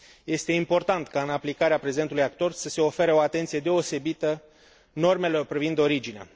Este important ca, în aplicarea prezentului acord, să se ofere o atenție deosebită normelor privind originea.